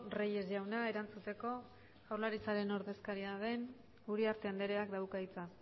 reyes jauna erantzuteko jaurlaritzaren ordezkaria den uriarte andreak dauka hitza